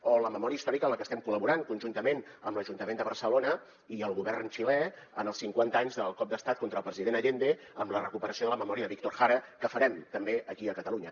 o la memòria històrica en la que estem col·laborant conjuntament amb l’ajuntament de barcelona i el govern xilè en els cinquanta anys del cop d’estat contra el president allende amb la recuperació de la memòria de víctor jara que farem també aquí a catalunya